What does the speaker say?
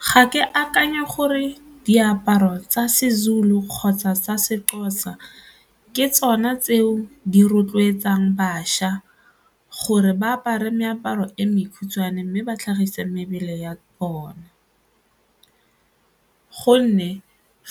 Ga ke akanya gore diaparo tsa Sezulu kgotsa sa Sexhosa ke tsona tseo di rotloetsang bašwa gore ba apara meaparo e mekhutshwane mme ba tlhagisa mebele ya bona gonne